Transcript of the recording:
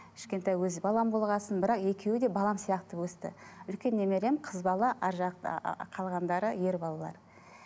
кішкентай өз балам болған соң бірақ екеуі де балам сияқты өсті үлкен немерем қыз бала әрі жақ ааа қалғандары ер балалар